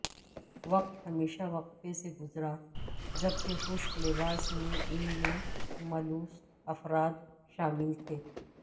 وقت ہمیشہ وقفے سے گزرا جبکہ خشک لباس میں ان میں ملوث افراد شامل تھے